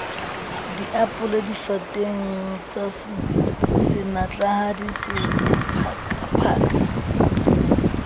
diapole difateng tsasenatlahadi se diphakaphaka